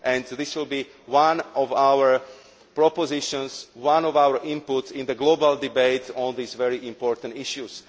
This will be one of our proposals, and one of our inputs into the global debate on these very important issues.